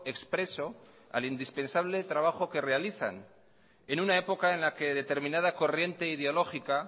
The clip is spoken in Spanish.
expreso al indispensable trabajo que realizan en una época en la que determinada corriente ideológica